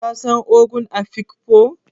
Ka san ogon Afikpo?